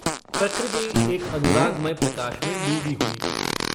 प्रकृति एक अनुरागमय प्रकाश में डूबी हुई थी।